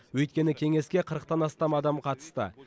өйткені кеңеске қырықтан астам адам қатысты